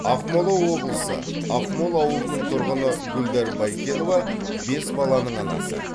ақмола облысы ақмол ауылының тұрғыны гүлдар байкенова бес баланың анасы